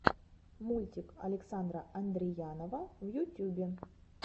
мультик александра андреянова в ютюбе